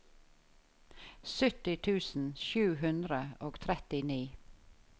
sytti tusen sju hundre og trettini